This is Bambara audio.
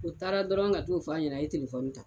U taara dɔrɔn ka t'o fɔ ɲɛnɛ a ye telefɔni ta